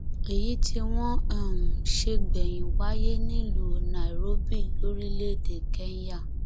èyí tí wọn um ṣe gbẹyìn wáyé nílùú nairobi lórílẹèdè kenya